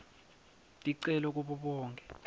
ticelo kubo bonkhe